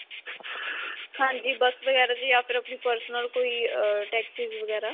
ਹਾਂਜੀ. bus ਵਗੈਰਾ 'ਚ ਜਾਂ ਫਿਰ ਆਪਣੀ personal ਕੋਈ ਅਅ taxis ਵਗੈਰਾ.